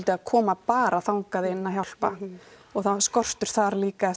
að koma bara þangað inn að hjálpa og það er skortur þar líka eftir